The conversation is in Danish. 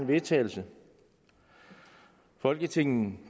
vedtagelse folketinget